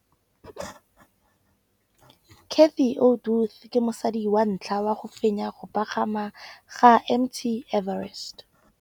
Cathy Odowd ke mosadi wa ntlha wa go fenya go pagama ga Mt Everest.